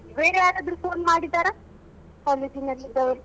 ಬೇರೆ ಯಾರಾದ್ರೂ phone ಮಾಡಿದ್ದಾರಾ college ನಲ್ಲಿ ಇದ್ದವರು.